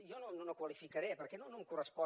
jo no ho qualificaré perquè no em correspon